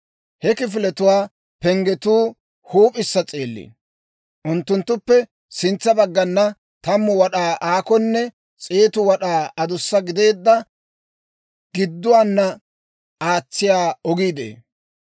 He kifiletuwaa penggetuu huup'issa s'eelliino. Unttunttuppe sintsa baggana 10 wad'aa aakonne 100 wad'aa adussa gideedda, giduwaana aatsiyaa ogii de'ee.